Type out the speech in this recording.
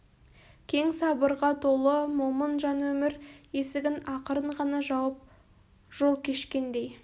кең сабырға толы момын жан өмір есігін ақырын ғана жауып жол кешкендей